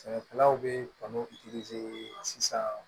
Sɛnɛkɛlaw bɛ kanu sisan